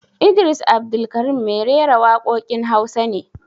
Idris Abdulkarim mai rera waƙoƙin Hausa ne